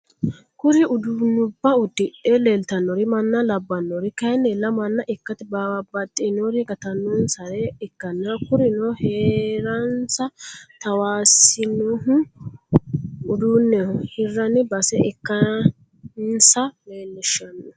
kuri udunuba udidhe lelitanori mana labanori kayinila mana ikate babaxinori gatanonisare ikana kurino herranisa tawissanohu uduneh hirani base ikanisa lileishshano.